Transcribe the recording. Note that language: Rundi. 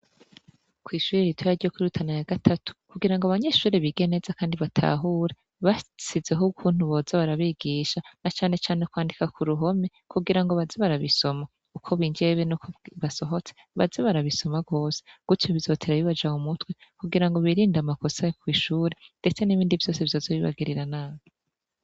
Kw'ishure ritoya ryo kuri Rutana ya gatatu, kugirango abanyeshure bige neza kandi batahure, bashizeho ukuntu boza barabigisha na cane cane kwandika ku ruhome kugirango baze barabisoma uko binjiye be nuko basohotse baze barabizoma rwose gutyo bizotera bibaja mu mutwe kugirango birinde amakosa yo kw'ishure ndetse n'ibindi vyose vyoza bibagirira nabi.